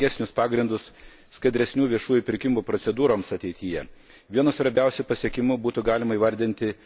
Šių direktyvų peržiūra padėjome naujus ir teisingesnius pagrindus skaidresnių viešųjų pirkimų procedūroms ateityje.